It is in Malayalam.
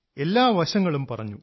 എല്ലാ വശങ്ങളും പറഞ്ഞു